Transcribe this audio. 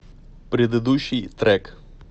предыдущий трек